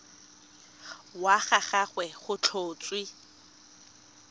wa ga gagwe go tlhotswe